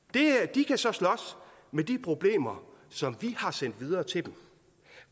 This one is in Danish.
de kan så slås med de problemer som vi har sendt videre til dem